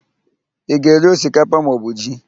Ị ga-eri osikapa maọbụ ji?